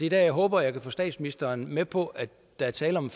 jeg håber at kunne få statsministeren med på at der er tale om